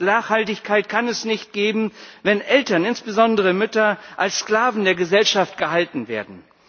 Nachhaltigkeit kann es nicht geben, wenn Eltern, insbesondere Mütter als Sklaven der Gesellschaft gehalten werden.